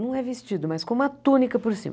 Não é vestido, mas com uma túnica por cima.